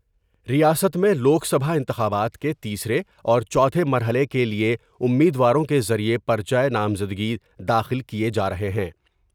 ریاست میں لوک سبھا انتخابات کے تیسرے اور چوتھے مرحلے کے لئے امیدواروں کے ذریعے پر چہ نامزدگی داخل کئے جارہے ہیں ۔